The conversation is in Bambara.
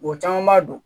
Wa caman b'a dɔn